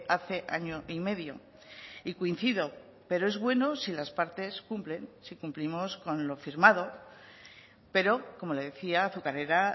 hace año y medio y coincido pero es bueno si las partes cumplen si cumplimos con lo firmado pero como le decía azucarera